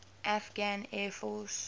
afghan air force